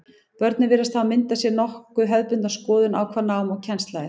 Börnin virðast hafa myndað sér nokkuð hefðbundna skoðun á hvað nám og kennsla er.